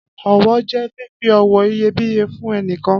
Ọ̀wọ̀ jẹ fífi ọ̀wọ̀ iyebíye fún ẹnìkan.